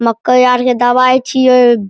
मक्का यार के दवाई छियै।